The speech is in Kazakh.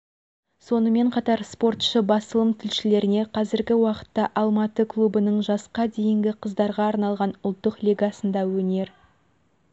сонымен қатар спортшы басылым тілшілеріне қазіргі уақытта алматы клубының жасқа дейінгі қыздарға арналған ұлттық лигасында өнер